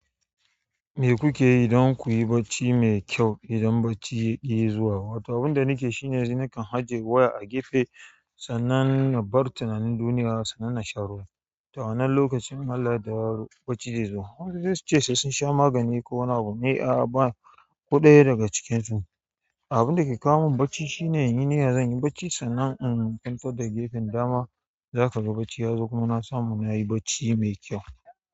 Me kuke yi dan ku yi bacci mai kyau, idan bacci yaƙi zuwa? Wato abin da nake yi shine yanzu nakan ajiye waya a gefe sannan na bar tunanin duniya sannan na sha ruwa. To a wannan lokacin in Allah ya yadda bacci zai zo. Wasu sai su ce sai sun sha magani ko wani abu. Ni a'a, ba ko ɗaya daga cikinsu. Abinda ke kawo min bacci shine in yi niyya zan yi bacci sannan in kwanta da gefen dama. Zaka ga bacci ya zo. Kuma na samu, nayi bacci mai kyau.